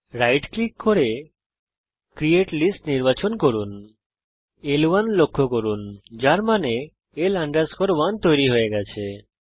right click করুন এবং create list নির্বাচন করুন এখানে ল1 লক্ষ্য করুন যার মানে L 1 তৈরি হয়ে গেছে